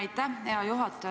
Aitäh, hea juhataja!